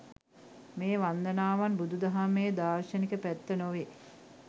මේ වන්දනාවන් බුදු දහමේ දාර්ශනික පැත්ත නොවේ.